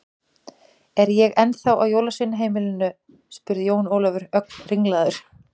Er ég þá ennþá á jólasveinaheimilinu spurði Jón Ólafur, ögn ringlaður.